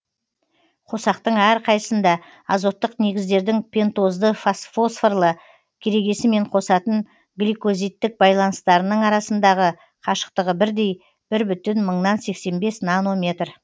қосақтың әрқайсысында азоттық негіздердің пентозды фосфорлы керегесімен қосатын гликозидтік байланыстарының арасындағы қашықтығы бірдей бір бүтін мыңнан сексен бес нанометр